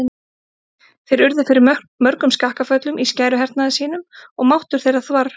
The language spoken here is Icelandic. Þeir urðu fyrir mörgum skakkaföllum í skæruhernaði sínum og máttur þeirra þvarr.